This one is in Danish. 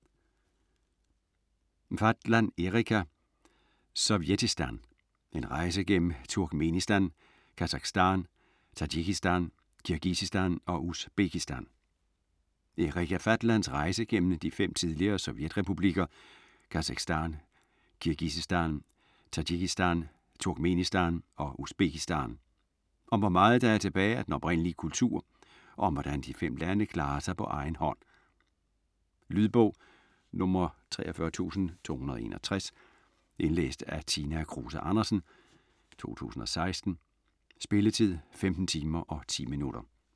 Fatland, Erika: Sovjetistan: en rejse gennem Turkmenistan, Kasakhstan, Tadsjikistan, Kirgisistan og Usbekistan Erika Fatlands rejse gennem de fem tidligere sovjetrepublikker Kasakhstan, Kirgisistan, Tadsjikistan, Turkmenistan og Usbekistan. Om hvor meget der er tilbage af den oprindelige kultur og om hvordan de fem lande klarer sig på egen hånd. Lydbog 43261 Indlæst af Tina Kruse Andersen, 2016. Spilletid: 15 timer, 10 minutter.